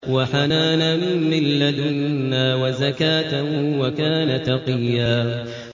وَحَنَانًا مِّن لَّدُنَّا وَزَكَاةً ۖ وَكَانَ تَقِيًّا